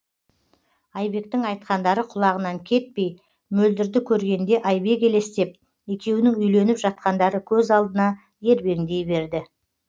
айбектің айтқандары құлағынан кетпей мөлдірді көргенде айбек елестеп екеуінің үйленіп жатқандары көз алдына ербеңдей берді